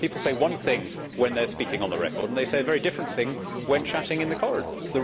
People say one thing when they are speaking on the record and they say a very different thing when chatting in the corridors.